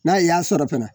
N'a y'a sɔrɔ fɛnɛ